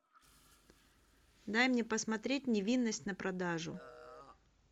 дай мне посмотреть невинность на продажу